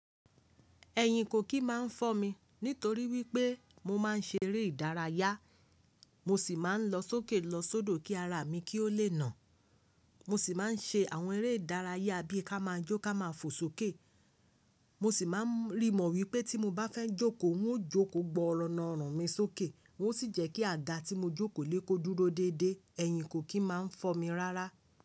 Ẹ̀yìn kò kì í máa ń fọ́ mi nítorí wípé mo máa ń ṣe eré ìdárayá, mo sì máa ń lọ sókè lọ sodo kí ara mi kí ó lè nà. Mo sì máa ń ṣe àwọn eré ìdárayá bí i ká máa jó ká máa fò sókè. Mo sì máa ń rí mọ̀ wípé tí mo bá fẹ́ jókòó, n ó jókòó gbọọrọ na ọrùn mi sókè. Ng ó sì jẹ́ kí àgá tí mo jókòó lé kó dúró déédé. Ẹ̀yìn kò kì í máa ń fọ́ mi rárá.